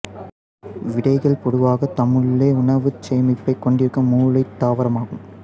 விதைகள் பொதுவாகத் தம்முள்ளே உணவுச் சேமிப்பைக் கொண்டிருக்கும் முளையத் தாவரமாகும்